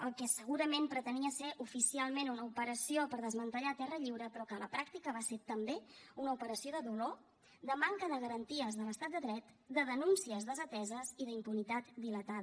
el que segurament pretenia ser oficialment una operació per desmantellar terra lliure però que a la pràctica va ser també una operació de dolor de manca de garanties de l’estat de dret de denúncies desateses i d’impunitat dilatada